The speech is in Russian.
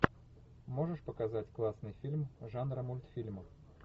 можешь показать классный фильм жанра мультфильм